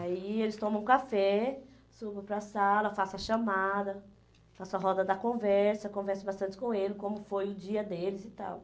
Aí eles tomam café, subo para a sala, faço a chamada, faço a roda da conversa, converso bastante com eles, como foi o dia deles e tal.